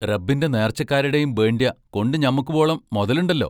റബ്ബിന്റെ നേർച്ചക്കാരിടേം ബേണ്ട്യ കൊണ്ടു ഞമ്മക്കുബോളം മൊതലൊണ്ടല്ലോ?